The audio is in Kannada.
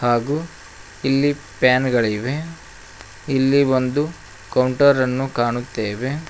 ಹಾಗು ಇಲ್ಲಿ ಪ್ಯಾನ್ ಗಳಿವೆ ಇಲ್ಲಿ ಒಂದು ಕೌಂಟರ್ ಅನ್ನು ಕಾಣುತ್ತೆವೆ.